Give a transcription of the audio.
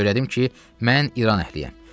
Söylədim ki, mən İran əhliyəm.